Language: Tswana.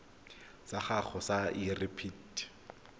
sa gago sa irp it